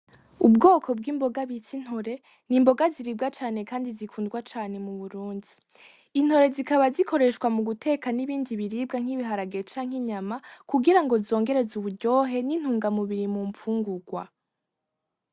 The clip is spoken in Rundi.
Ubwoko bw’imboga bita Intore , n’imboga ziribwa cane Kandi zikundwa cane mu Burundi . Intore zikaba zikoreshwa mu guteka n’ibindi biribwa nk’ibiharage canke inyama kugira ngo zongereze uburyohe N’intungamubiri mu mpfungurwa .